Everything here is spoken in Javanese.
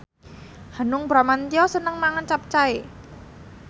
Hanung Bramantyo seneng mangan capcay